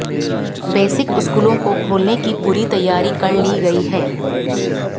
basic स्कलों को खोलने की पूरी तैयारी कर ली गई है